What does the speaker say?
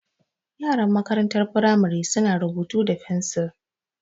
Yaran makarantar firamari su na rubutu da fensil